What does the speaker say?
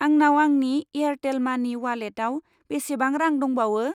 आंनाव आंनि एयारटेल मानि अवालेटाव बेसेबां रां दंबावो?